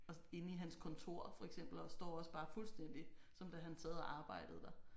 Også inde i hans kontor for eksempel og der står også bare fuldstændig som da han sad og arbejdede der